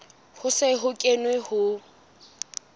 ho se ho kenwe ho